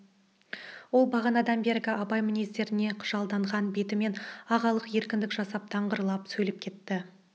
ол бағанадан бергі абай мінездеріне қыжалданған бетімен ағалық еркіндік жасап даңғырлап сөйлеп кетті